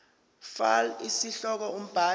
fal isihloko umbhali